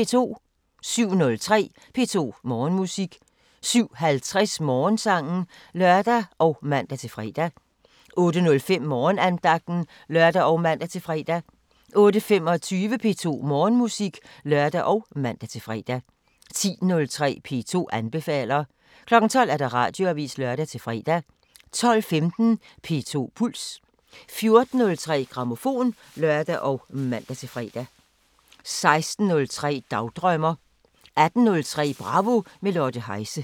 07:03: P2 Morgenmusik 07:50: Morgensangen (lør og man-fre) 08:05: Morgenandagten (lør og man-fre) 08:25: P2 Morgenmusik (lør og man-fre) 10:03: P2 anbefaler 12:00: Radioavisen (lør-fre) 12:15: P2 Puls 14:03: Grammofon (lør og man-fre) 16:03: Dagdrømmer 18:03: Bravo – med Lotte Heise